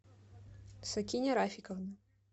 сакиня рафиковна